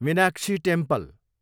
Meenakshi temple